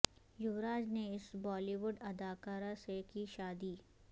یووراج نے اس Bollywood اداکاری سے کی شادی